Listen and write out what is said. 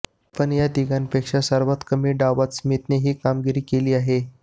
पण या तिघांपेक्षा सर्वात कमी डावात स्मिथने ही कामगिरी केली आहे